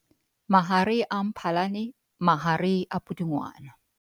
Mahare a Mphalane - mahare a Pudungwana